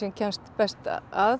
kemst best að